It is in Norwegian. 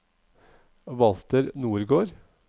Walter Nordgård